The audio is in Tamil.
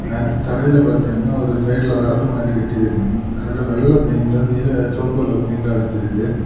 அடுத்து தரையிலெ பாத்திங்கென்னா ஒரு சைடுல வரப்பு மாரி கட்டியிருக்கனு அதுலெ வெள்ளை பெயிண்ட் நீல சொவப்பு கலர் பெயிண்ட்டு அடிச்சிருக்கு.